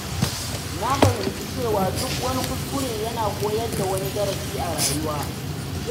Na fahimci cewa duk wani kuskure yana koyar da wani darasi a rayuwa.